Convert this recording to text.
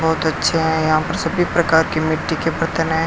और बच्चे है यहां पर सभी प्रकार के मिट्टी के बर्तन हैं।